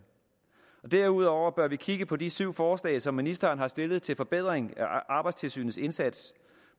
derudover bør vi kigge på de syv forslag som ministeren har stillet til forbedring af arbejdstilsynets indsats